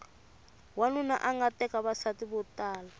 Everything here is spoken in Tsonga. wanuna anga teka vavasati vo tala